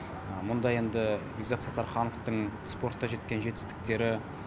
мұнда енді бекзат саттархановтың спортта жеткен жетістіктері